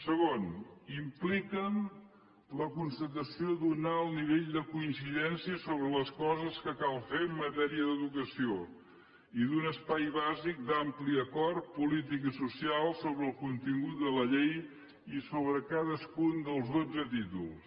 segon impliquen la constatació d’un alt nivell de coincidència sobre les coses que cal fer en matèria d’educació i un espai bàsic d’ampli acord polític i social sobre el contingut de la llei i sobre cadascun dels dotze títols